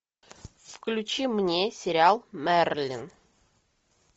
включи мне сериал мерлин